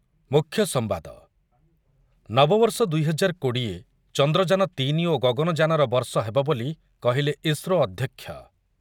ମୁଖ୍ୟ ସମ୍ବାଦ, ନବବର୍ଷ ଦୁଇ ହଜାର କୋଡ଼ିଏ ଚନ୍ଦ୍ରଯାନ ତିନି ଓ ଗଗନଯାନର ବର୍ଷ ହେବ ବୋଲି କହିଲେ ଇସ୍ରୋ ଅଧ୍ୟକ୍ଷ